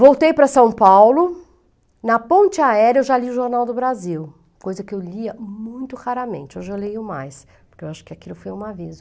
Voltei para São Paulo, na ponte aérea eu já li o Jornal do Brasil, coisa que eu lia muito raramente, hoje eu leio mais, porque eu acho que aquilo foi um aviso.